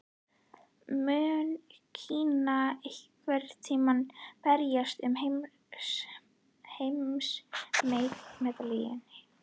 Mun Kína einhvern tímann berjast um heimsmeistaratitilinn?